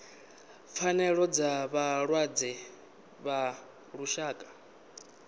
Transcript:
pfanelo dza vhalwadze ḽa lushaka